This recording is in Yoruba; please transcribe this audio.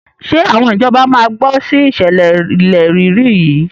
Ṣé àwọn ìjọba máa gbọ́ sí ìṣẹ̀lẹ̀ ilẹ̀ rírì yìí?